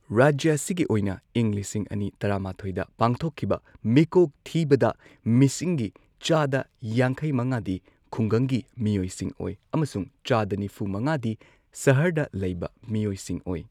ꯔꯥꯖ꯭ꯌ ꯑꯁꯤꯒꯤ ꯑꯣꯏꯅ ꯏꯪ ꯂꯤꯁꯤꯡ ꯑꯅꯤ ꯇꯔꯥꯃꯥꯊꯣꯏꯗ ꯄꯥꯡꯊꯣꯛꯈꯤꯕ ꯃꯤꯀꯣꯛ ꯊꯤꯕꯗ ꯃꯤꯁꯤꯡꯒꯤ ꯆꯥꯗ ꯌꯥꯡꯈꯩ ꯃꯉꯥꯗꯤ ꯈꯨꯡꯒꯪꯒꯤ ꯃꯤꯑꯣꯏꯁꯤꯡ ꯑꯣꯏ ꯑꯃꯁꯨꯡ ꯆꯥꯗ ꯅꯤꯐꯨ ꯃꯉꯥꯗꯤ ꯁꯍꯔꯗ ꯂꯩꯕ ꯃꯤꯑꯣꯏꯁꯤꯡ ꯑꯣꯏ꯫